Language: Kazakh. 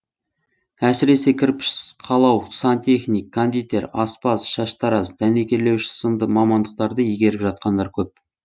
әсіресе кірпіш қалау сантехник кондитер аспаз шаштараз дәнекерлеуші сынды мамандықтарды игеріп жатқандар көп